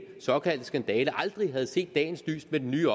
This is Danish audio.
såkaldte skandale aldrig havde set dagens lys med den nye